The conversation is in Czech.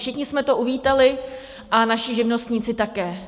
Všichni jsme to uvítali a naši živnostníci také.